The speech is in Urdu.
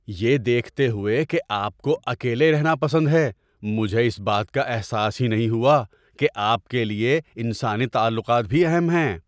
یہ دیکھتے ہوئے کہ آپ کو اکیلے رہنا پسند ہے، مجھے اس بات کا احساس ہی نہیں ہوا کہ آپ کے لیے انسانی تعلقات بھی اہم ہیں۔